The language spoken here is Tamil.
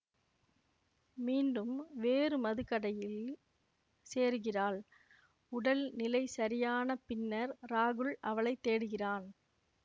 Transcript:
மீண்டும் வேறு மதுக்கடையில் சேருகிறாள் உடல் நிலை சரியான பின்னர் ராகுல் அவளை தேடுகிறான்